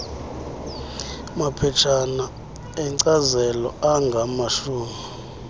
maphetshana enkcazelo angamashumi